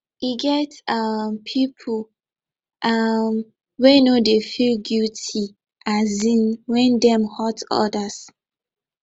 e get um pipu um wey no dey feel guity um wen dem hurt odas